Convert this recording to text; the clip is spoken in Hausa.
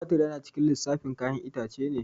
Tomatur yana cikin lissafin ƴayan itace ne